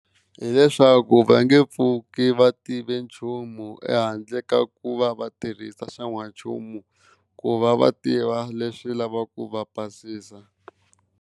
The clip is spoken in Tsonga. Hileswaku va nge pfuki va tivi nchumu ehandle ka ku va va tirhisa xan'wanchumu, ku va va tiva leswi lavaka ku va pasisa.